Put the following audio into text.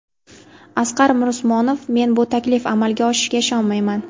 Asqar Mirusmonov: Men bu taklif amalga oshishiga ishonmayman.